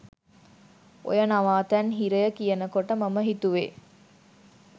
ඔය නවාතැන් හිරය කියනකොට මම හිතුවේ